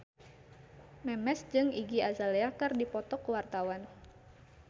Memes jeung Iggy Azalea keur dipoto ku wartawan